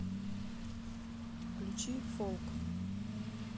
включи фолк